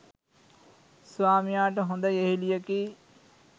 ස්වාමියාට හොඳ යෙහෙළියකි.